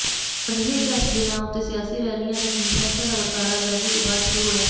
ਅਜਿਹੇ ਇਤਿਹਾਸਕ ਦਿਨਾਂ ਉੱਤੇ ਸਿਆਸੀ ਰੈਲੀਆਂ ਜਾਂ ਕਾਨਫਰੰਸਾਂ ਦਾ ਵਰਤਾਰਾ ਆਜ਼ਾਦੀ ਤੋਂ ਬਾਅਦ ਸ਼ੁਰੂ ਹੋਇਆ